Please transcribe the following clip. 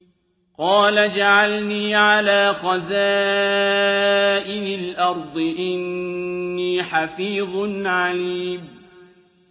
قَالَ اجْعَلْنِي عَلَىٰ خَزَائِنِ الْأَرْضِ ۖ إِنِّي حَفِيظٌ عَلِيمٌ